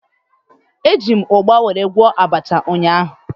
Eji m ugba were gwọọ abacha ụnyaahụ